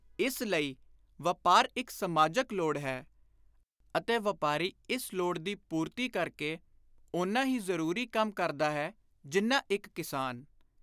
ਇਸ ਲਈ ਵਾਪਾਰ ਇਕ ਸਮਾਜਕ ਲੋੜ ਹੈ ਅਤੇ ਵਾਪਾਰੀ ਇਸ ਲੋੜ ਦੀ ਪੁਰਤੀ ਕਰ ਕੇ ਓਨਾ ਹੀ ਜ਼ਰੁਰੀ ਕੰਮ ਕਰਦਾ ਹੈ ਜਿੰਨਾ ਇਕ ਕਿਸਾਨ।